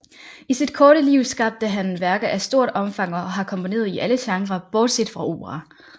I sit korte liv skabte han værker af stort omfang og har komponeret i alle genrer bortset fra opera